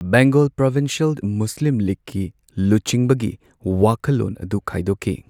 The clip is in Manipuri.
ꯕꯦꯡꯒꯜ ꯄ꯭ꯔꯣꯚꯤꯟꯁꯤꯌꯦꯜ ꯃꯨꯁꯂꯤꯝ ꯂꯤꯒꯀꯤ ꯂꯨꯆꯤꯡꯕꯒꯤ ꯋꯥꯈꯜꯂꯣꯟ ꯑꯗꯨ ꯈꯥꯏꯗꯣꯛꯈꯤ꯫